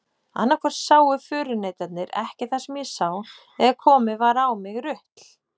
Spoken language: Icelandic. Annaðhvort sáu förunautarnir ekki það sem ég sá eða komið var á mig rutl.